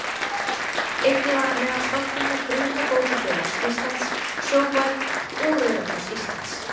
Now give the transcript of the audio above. Einnig var hann meðal stofnenda Brunabótafélags Íslands, Sjóvár og Rauða kross Íslands.